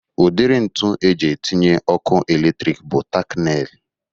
Udiri ntu eji etinye ọkụ eletrik bụ tak neil